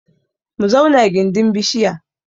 Mu zauna gindin bishiya